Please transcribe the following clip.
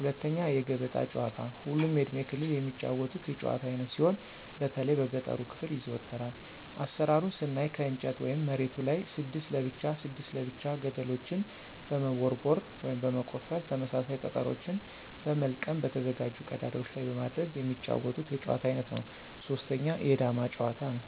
2=የገበጣ ጨዋታ ሁሉም የእድሜ ክልል የሚጫወቱት የጭዋታ አይነት ሲሆን በተለይ በገጠሩ ክፍል ይዘወተራል። አሰራሩን ስናይ ከእንጨት ወይም መሬቱ ላይ 6 ለብቻ 6 ለብቻ ገደልችን በመቦርቦር (በመቆፈር) ተመሳሳይ ጠጠሮችን በመልቀም በተዘጋጁ ቀዳዳዎች ላይ በማድረግ የሚጫወቱት የጨዋታ አይነት ነው። 3=የዳማ ጭዋታ; ነው።